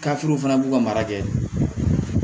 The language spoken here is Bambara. fana b'u ka mara kɛ